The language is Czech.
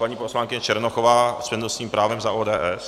Paní poslankyně Černochová s přednostním právem za ODS.